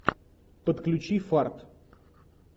подключи фарт